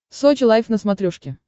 сочи лайв на смотрешке